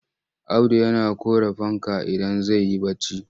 Audu yana ƙure fanka idan zai yi barci.